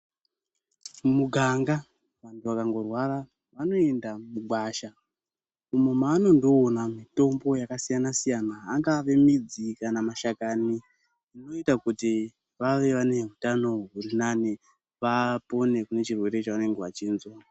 Mumuganga vantu vakangorwara vanoenda mugwasha umo manondoona mitombo yakasiyana-siyana, angave midzi kana mashakani anoita kuti vave vane hutano hurinani vapone kunechirwere chavanende vachinza.